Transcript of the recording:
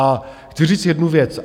A chci říct jednu věc.